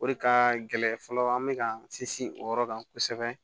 O de ka gɛlɛn fɔlɔ an bɛ ka sinsin o yɔrɔ kan kosɛbɛ